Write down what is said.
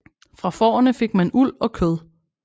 Fra fårene fik man uld og kød